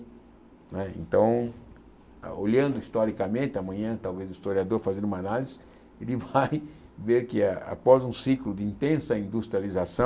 Né então, olhando historicamente, amanhã talvez o historiador fazendo uma análise, ele vai ver que ah após um ciclo de intensa industrialização,